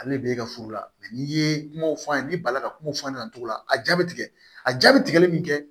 Ale de bɛ e ka furu la n'i ye kumaw f'a ye ni balila ka kuma f'a ɲɛna cogo la a jaabi tigɛ a jaabi tigɛli min kɛ